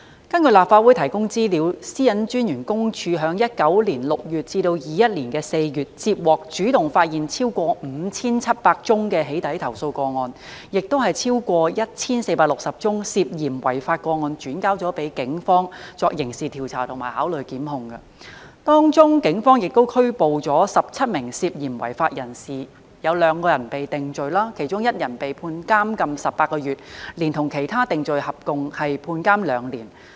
根據立法會提供資料，香港個人資料私隱專員公署於2019年6月至2021年4月，接獲和主動發現超過 5,700 宗"起底"投訴個案，亦把超過 1,460 宗涉嫌違法個案轉交警方作刑事調查及考慮檢控，當中警方拘捕了17名涉嫌違法人士，有2人被定罪，其中1人被判監禁18個月，連同其他定罪合共判監2年。